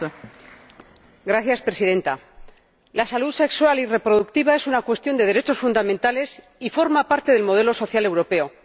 Señora Presidenta, la salud sexual y reproductiva es una cuestión de derechos fundamentales y forma parte del modelo social europeo.